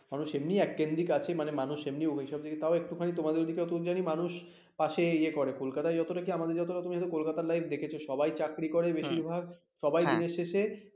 মানুষ এমনি actively আছে মানুষ এমনি ঐসব দিক দিয়ে তাও একটুখানি তোমাদের ওইদিকে একটুখানি মানুষ পাশে ইয়ে করে, কলকাতায় যতটা কি আমাদের যত কলকাতার লাইফ দেখেছো সবাই চাকরি করে বেশিরভাগ সবাই দিনের শেষে